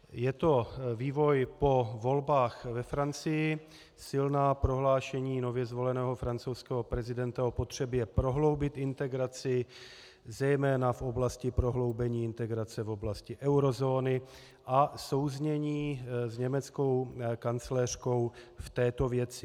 Je to vývoj po volbách ve Francii, silná prohlášení nově zvoleného francouzského prezidenta o potřebě prohloubit integraci, zejména v oblasti prohloubení integrace v oblasti eurozóny, a souznění s německou kancléřkou v této věci.